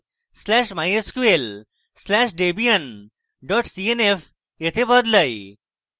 slash etc slash mysql slash debian dot cnf এ বদলাই